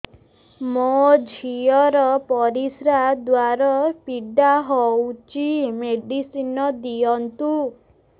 ମୋ ଝିଅ ର ପରିସ୍ରା ଦ୍ଵାର ପୀଡା ହଉଚି ମେଡିସିନ ଦିଅନ୍ତୁ